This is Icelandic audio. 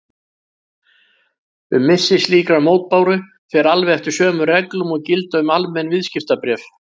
Um missi slíkrar mótbáru fer alveg eftir sömu reglum og gilda um almenn viðskiptabréf.